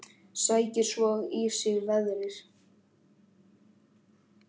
Sækir svo í sig veðrið.